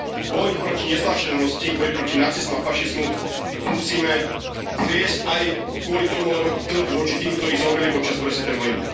Boj proti neznášanlivosti, boj proti nacizmu a fašizmu musíme zviesť aj kvôli tomu, lebo je to dlh voči tým, ktorí zomreli počas druhej svetovej vojny.